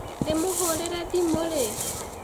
Ndĩmũhũrire thimu rĩ?